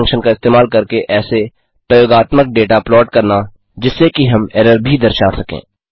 errorbar function का इस्तेमाल करके ऐसे प्रयोगात्मक डेटा प्लॉट करना जिससे कि हम एरर भी दर्शा सकें